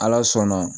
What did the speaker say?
Ala sɔnna